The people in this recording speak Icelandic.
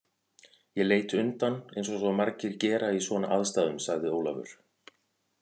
Ég leit undan eins og svo margir gera í svona aðstæðum sagði Ólafur.